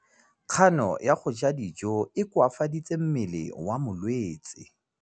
Kganô ya go ja dijo e koafaditse mmele wa molwetse.